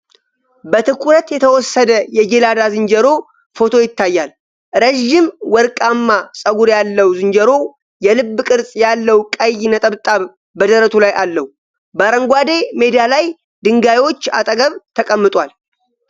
በትኩረት የተወሰደ የጄላዳ ዝንጀሮ ፎቶ ይታያል። ረዥም ወርቃማ ጸጉር ያለው ዝንጀሮው፣ የልብ ቅርጽ ያለው ቀይ ነጠብጣብ በደረቱ ላይ አለው። በአረንጓዴ ሜዳ ላይ ድንጋዮች አጠገብ ተቀምጧል።